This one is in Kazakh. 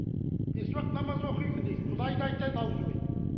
бес уақыт намаз оқимын дейді құдайды айтады аузымен